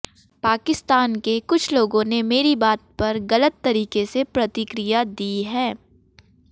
पाकिस्तान के कुछ लोगों ने मेरी बात पर गलत तरीके से प्रतिक्रिया दी है